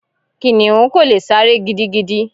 Kìnnìún kò lè sáré gidigidi.